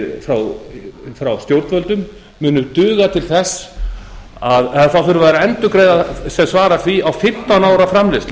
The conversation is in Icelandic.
fá frá stjórnvöldum munu duga til þess þá þurfa þeir að endurgreiða sem svarar því á fimmtán ára framleiðslu